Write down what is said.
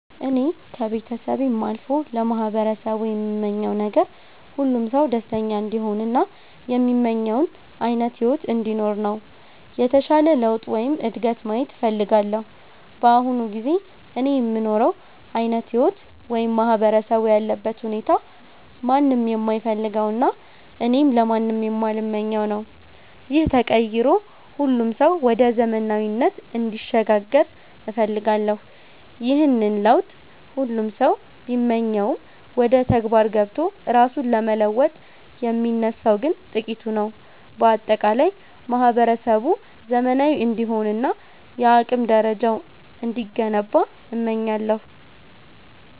እኔ ከቤተሰቤም አልፎ ለማህበረሰቡ የምመኘው ነገር፣ ሁሉም ሰው ደስተኛ እንዲሆን እና የሚመኘውን ዓይነት ሕይወት እንዲኖር ነው። የተሻለ ለውጥ ወይም እድገት ማየት እፈልጋለሁ። በአሁኑ ጊዜ እኔ የምኖረው ዓይነት ሕይወት ወይም ማህበረሰቡ ያለበት ሁኔታ ማንም የማይፈልገውና እኔም ለማንም የማልመኘው ነው። ይህ ተቀይሮ ሁሉም ሰው ወደ ዘመናዊነት እንዲሸጋገር እፈልጋለሁ። ይህንን ለውጥ ሁሉም ሰው ቢመኘውም፣ ወደ ተግባር ገብቶ ራሱን ለመለወጥ የሚነሳው ግን ጥቂቱ ነው። በአጠቃላይ ማህበረሰቡ ዘመናዊ እንዲሆንና የአቅም ደረጃው እንዲገነባ እመኛለሁ።